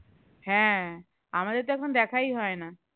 হ্যাঁ আমাদের তো এখন দেখাই হয় না